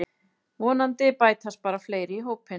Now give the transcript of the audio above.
Vonandi bætast bara fleiri í hópinn